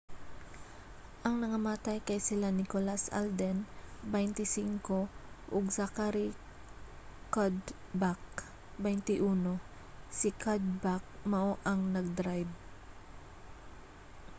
ang nangamatay kay sila nicholas alden 25 ug zachary cuddeback 21. si cuddeback mao ang nag-drayb